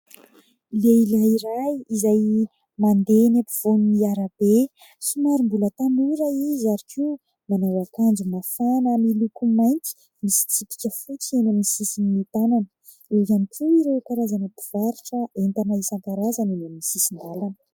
Lehilahy iray izay mandeha eny ampovoan'ny arabe. Somary mbola tanora izy ary koa manao akanjo mafana miloko mainty, misy tsipika fotsy eny amin'ny sisin'ny tànany. Eo ihany koa ireo karazana mpivarotra entana isan-karazany eny amin'ny sisin-dàlana.